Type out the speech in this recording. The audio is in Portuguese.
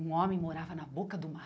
Um homem morava na boca do